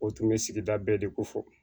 O tun bɛ sigida bɛɛ de ko fɔ